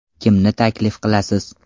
Kimni taklif qilasiz?